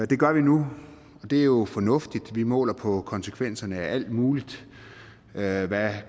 det gør vi nu og det er jo fornuftigt vi måler på konsekvenserne af alt muligt hvad hvad